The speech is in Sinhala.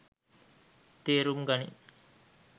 තේරුම් ගනින්.